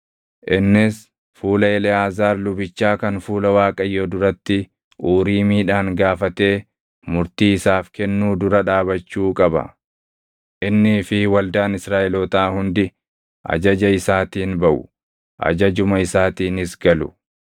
Innis fuula Eleʼaazaar lubichaa kan fuula Waaqayyoo duratti Uriimiidhaan gaafatee murtii isaaf kennuu dura dhaabachuu qaba. Innii fi waldaan Israaʼelootaa hundi ajaja isaatiin baʼu; ajajuma isaatiinis galu.”